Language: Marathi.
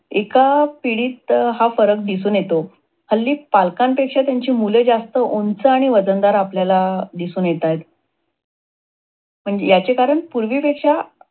एका पिढीत हा फरक दिसून येतो. हल्ली पालकांपेक्षा त्यांची मुले जास्त उंच आणि वजनदार आपल्याला दिसून येतात. म्हणजे याचे कारण पूर्वी पेक्षा